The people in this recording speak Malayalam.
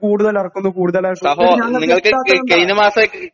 കൂടുതലെറക്കുന്നു കൂടുതലെറക്കുന്നു ഇതെന്താ ഞങ്ങക്കെത്താത്തയെന്താ